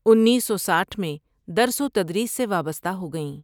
انیس سو سٹھ میں درس وتدریس سے وابستہ ہو گئیں ۔